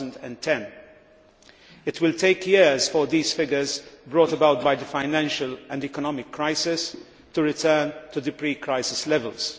2010. It will take years for these figures, brought about by the financial and economic crisis, to return to the pre crisis levels.